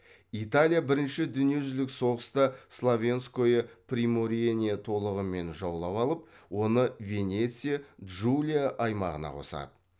италия бірінші дүниежүзілік соғыста словенское приморьені толығымен жаулап алып оны венеция джулия аймағына қосады